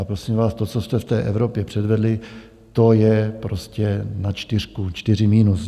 A prosím vás, to, co jste v té Evropě předvedli, to je prostě na čtyřku, čtyři minus.